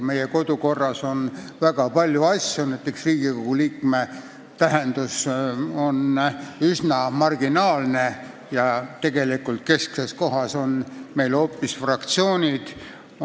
Meie kodukorras on väga palju probleeme, näiteks on Riigikogu liikme tähendus üsna marginaalne ja kesksel kohal on meil tegelikult hoopis fraktsioonid.